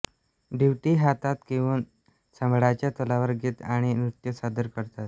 दिवटी हातात घेऊन संबळाच्या तालावर गीत आणि नृत्य सादर करतात